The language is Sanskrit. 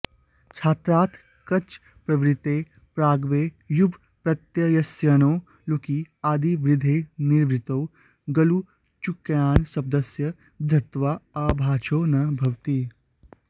छात्रार्थकछप्रवृत्तेः प्रागेव युवप्रत्ययस्याऽणो लुकि आदिवृद्धेर्निवृत्तौ ग्लुचुकायनिशब्दस्य वृद्धत्वाऽभावाच्छो न भवति